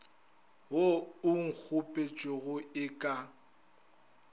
wo o kgopetšwego e ka